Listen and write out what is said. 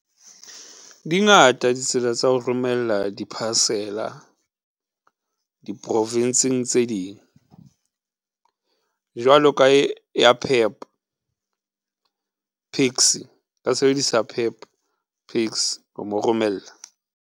Dingata di tsela tsa ho romella di-parcel-a di-Province-ng tse ding jwalo ka e ya PEP PAXI, sebedisa PEP PAXI ho mo romella.